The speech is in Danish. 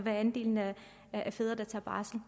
andelen af fædre der tager barsel